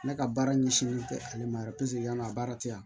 Ne ka baara ɲɛsinnen tɛ ale ma yɛrɛ yan'a baara tɛ yan